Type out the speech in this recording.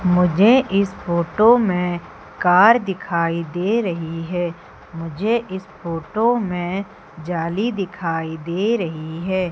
मुझे इस फोटो में कार दिखाई दे रही है मुझे इस फोटो में जाली दिखाई दे रही है।